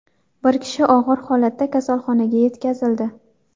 Bir kishi og‘ir holatda kasalxonaga yetkazildi.